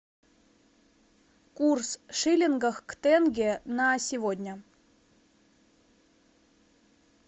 курс шиллинга к тенге на сегодня